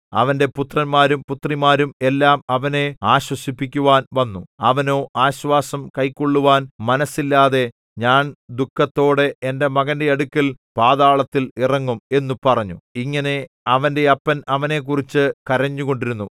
അവന്റെ പുത്രന്മാരും പുത്രിമാരും എല്ലാം അവനെ ആശ്വസിപ്പിക്കുവാൻ വന്നു അവനോ ആശ്വാസം കൈക്കൊള്ളുവാൻ മനസ്സില്ലാതെ ഞാൻ ദുഃഖത്തോടെ എന്റെ മകന്റെ അടുക്കൽ പാതാളത്തിൽ ഇറങ്ങും എന്നു പറഞ്ഞു ഇങ്ങനെ അവന്റെ അപ്പൻ അവനെക്കുറിച്ചു കരഞ്ഞുകൊണ്ടിരുന്നു